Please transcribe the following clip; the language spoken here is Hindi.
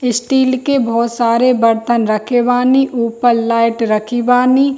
स्टील के बहुत सारे बर्तन रखे बानी ऊपर लाइट रखी बानी।